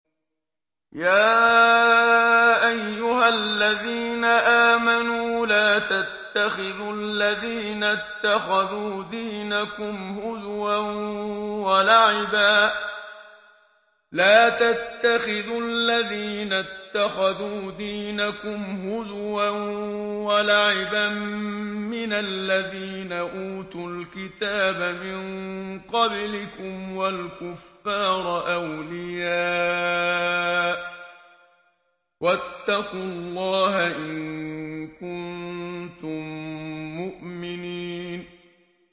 يَا أَيُّهَا الَّذِينَ آمَنُوا لَا تَتَّخِذُوا الَّذِينَ اتَّخَذُوا دِينَكُمْ هُزُوًا وَلَعِبًا مِّنَ الَّذِينَ أُوتُوا الْكِتَابَ مِن قَبْلِكُمْ وَالْكُفَّارَ أَوْلِيَاءَ ۚ وَاتَّقُوا اللَّهَ إِن كُنتُم مُّؤْمِنِينَ